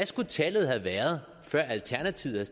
skulle tallet have været før alternativet